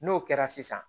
N'o kɛra sisan